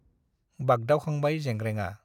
बागदावखांबाय जेंग्रेंआ ।